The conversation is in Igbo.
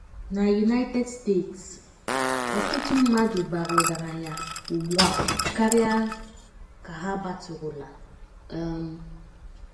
Na United States, ọtụtụ mmadụ bara ọgaranya ugbu a karịa ka ha batụrụla um.